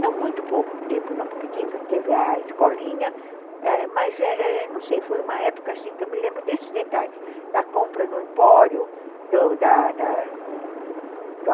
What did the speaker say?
Não muito pouco tempo não, porque teve teve a escolinha, mas não sei, foi uma época assim que eu me lembro desses detalhes, da compra no empório, do da da